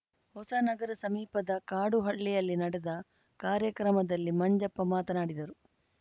ಹೊಸನಗರ ಸಮೀಪದ ಕಾಡುಹಳ್ಳಿಯಲ್ಲಿ ನಡೆದ ಕಾರ್ಯಕ್ರಮದಲ್ಲಿ ಮಂಜಪ್ಪ ಮಾತನಾಡಿದರು